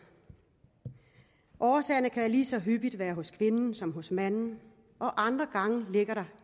årsagerne kan lige så hyppigt være hos kvinden som hos manden og andre gange ligger der